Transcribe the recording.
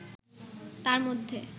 তার মধ্যে